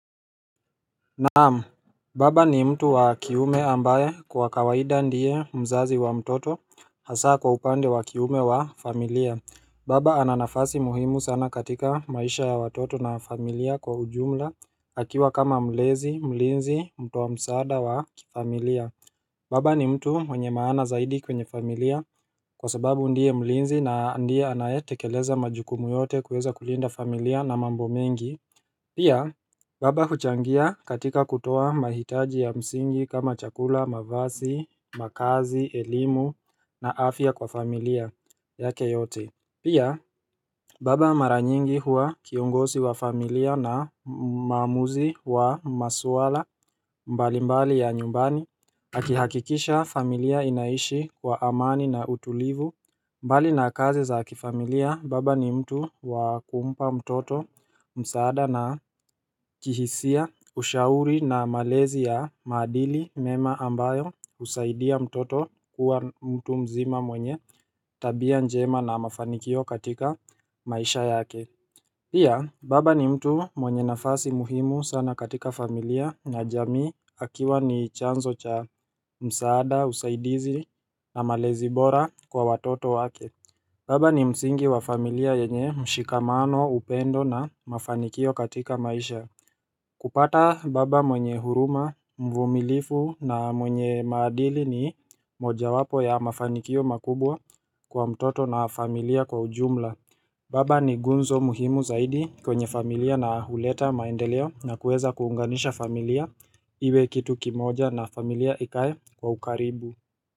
Naam, baba ni mtu wa kiume ambaye kwa kawaida ndiye mzazi wa mtoto hasa kwa upande wa kiume wa familia Baba ana nafasi muhimu sana katika maisha ya watoto na familia kwa ujumla akiwa kama mlezi, mlinzi, mtu wa msaada wa familia Baba ni mtu mwenye maana zaidi kwenye familia kwa sababu ndiye mlinzi na ndiye anayetekeleza majukumu yote kuweza kulinda familia na mambo mengi Pia baba huchangia katika kutoa mahitaji ya msingi kama chakula, mavazi, makazi, elimu na afya kwa familia yake yote Pia baba mara nyingi huwa kiongozi wa familia na maamuzi wa masuala mbalimbali ya nyumbani Akihakikisha familia inaishi wa amani na utulivu mbali na kazi za kifamilia baba ni mtu wa kumpa mtoto msaada na kihisia ushauri na malezi ya maadili mema ambayo husaidia mtoto kuwa mtu mzima mwenye tabia njema na mafanikio katika maisha yake Pia baba ni mtu mwenye nafasi muhimu sana katika familia na jamii akiwa ni chanzo cha msaada, usaidizi na malezi bora kwa watoto wake. Baba ni msingi wa familia yenye mshikamano, upendo na mafanikio katika maisha. Kupata baba mwenye huruma, mvumilivu na mwenye maadili ni mojawapo ya mafanikio makubwa kwa mtoto na familia kwa ujumla. Baba ni gunzo muhimu zaidi kwenye familia na huleta maendeleo na kueza kuunganisha familia iwe kitu kimoja na familia ikae kwa ukaribu.